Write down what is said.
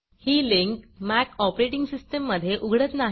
ही link Mac OS मधे उघडत नाही